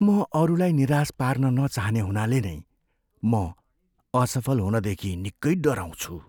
म अरूलाई निराश पार्न नचाहने हुनाले नै म असफल हुनदेखि निक्कै डराउँछु।